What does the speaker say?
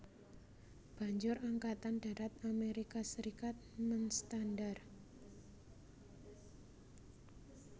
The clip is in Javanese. Banjur Angkatan Darat Amerika Serikat menstandar